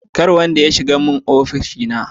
Nobody should enter my office